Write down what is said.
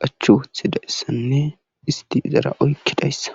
qachchi wotidayssanne isti izara oykidayssa.